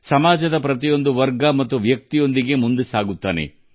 ಸಮಾಜದ ಪ್ರತಿಯೊಂದು ವರ್ಗ ಮತ್ತು ವ್ಯಕ್ತಿಗಳೊಂದಿಗೆ ದೇವರು ನಡೆಯುತ್ತಾರೆ